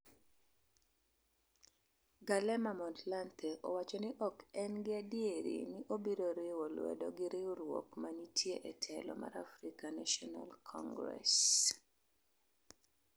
Kgalema Motlanthe wacho ni ok en gi adiera ni obiro riwon lwedo gi riwruok manitie e telo mar Afrian National Congress